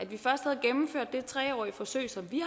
vi først havde gennemført det tre årige forsøg som vi